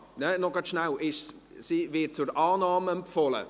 – Ach so, Moment, sie wird zur Annahme empfohlen.